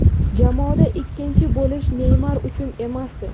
Jamoada ikkinchi bo‘lish Neymar uchun emasdi.